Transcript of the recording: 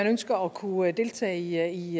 ønsker at kunne deltage i